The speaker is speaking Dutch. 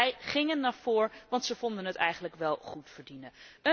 En zij gingen ervoor want ze vonden het eigenlijk wel goed verdienen.